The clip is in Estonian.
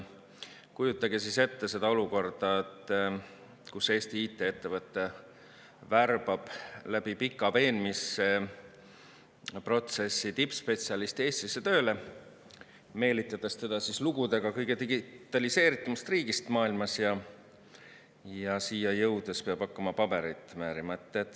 Kujutage siis ette seda olukorda, kus Eesti IT-ettevõte värbab läbi pika veenmisprotsessi tippspetsialisti Eestisse tööle, meelitades teda lugudega kõige digitaliseeritumast riigist maailmas – ja siia jõudes peab ta hakkama paberit määrima.